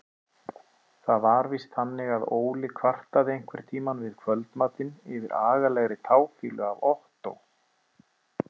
Það var víst þannig að Óli kvartaði einhverntíma við kvöldmatinn yfir agalegri táfýlu af Ottó.